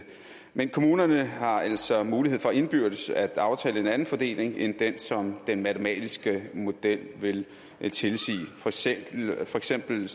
men kommunerne har altså mulighed for indbyrdes at aftale en anden fordeling end den som den matematiske model vil tilsige for eksempel